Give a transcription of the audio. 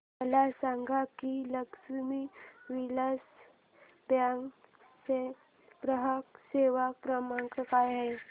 मला सांगा की लक्ष्मी विलास बँक चा ग्राहक सेवा क्रमांक काय आहे